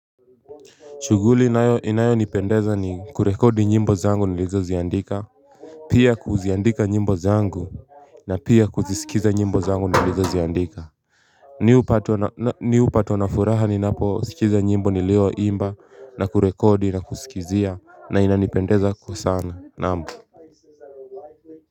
Shuguli inayo nipendeza ni kurekodi nyimbo zangu nilizo ziandika. Pia kuziandika nyimbo zangu na pia kuzisikiza nyimbo zangu nilizo ziandika Mi hupatwa na furaha ni napo skiza nyimbo nilio imba na kurekodi na kusikizia na inanipendeza kwa sana nam. Kwa hivyo.